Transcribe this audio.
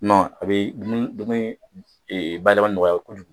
a bɛ dumuni dumuni bayɛlɛmali nɔgɔya kojugu.